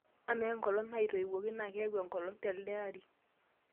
amaa enkolong' naitoiwuoki naa keeku a olong' telde ari